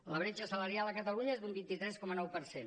la bretxa salarial a catalunya és d’un vint tres coma nou per cent